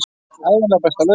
Ævinlega besta lausnin.